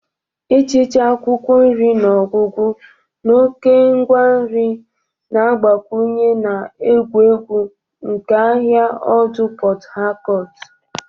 Ịchịcha akwụkwọ nri n'ọgwụgwụ na oke ngwa nri na-agbakwunye na egwu egwu nke ahịa ọdụ port Harcourt.